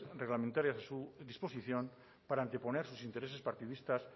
reglamentarias a su disposición para anteponer sus intereses partidistas